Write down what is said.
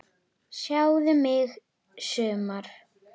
Sjáðu mig sumar!